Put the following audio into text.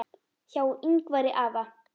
Hjá Yngvari afa